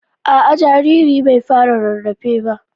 Aa jariri na bai fara rarafe ba.